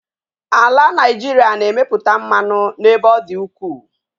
Ala Nigeria na-emeputa mmanụ n'ebe ọ dị ukwu.